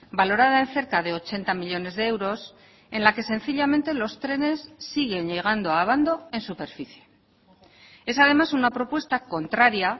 valorada en cerca de ochenta millónes de euros en la que sencillamente los trenes siguen llegando a abando en superficie es además una propuesta contraria